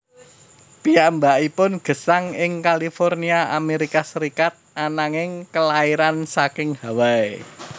Piyambakipun gesang ing California Amerika Serikat ananging kelairan saking Hawai